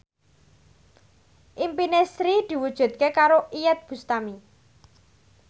impine Sri diwujudke karo Iyeth Bustami